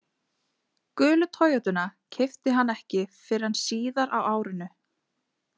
Gulu Toyotuna keypti hann ekki fyrr en síðar á árinu.